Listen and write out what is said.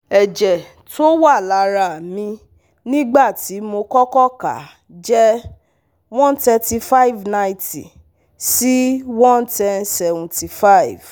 Ẹ̀jẹ̀ tó wà lára mi nígbà tí mo kọ́kọ́ kà á jẹ́ one thirty five ninety sí one ten seventy five